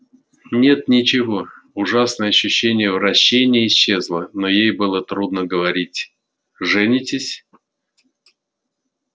нет ничего ужасное ощущение вращения исчезло но ей было трудно говорить женитесь